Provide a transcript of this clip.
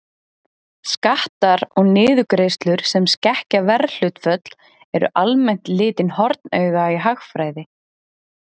Skattar og niðurgreiðslur sem skekkja verðhlutföll eru almennt litin hornauga í hagfræði.